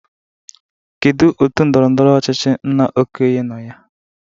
Kedu otu ndọrọndọrọ ọchịchị nna Okoye nọ na ya?